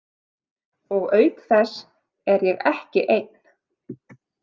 Og auk þess er ég ekki einn.